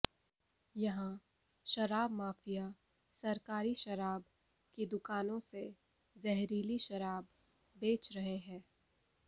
यहां शराब माफिया सरकारी शराब की दुकानों से जहरीली शराब बेच रहे हैं